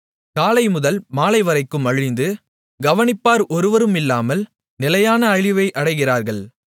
காலைமுதல் மாலைவரைக்கும் அழிந்து கவனிப்பார் ஒருவருமில்லாமல் நிலையான அழிவை அடைகிறார்கள்